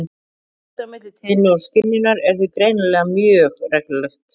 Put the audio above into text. Sambandið á milli tíðni og skynjunar er því greinilega mjög reglulegt.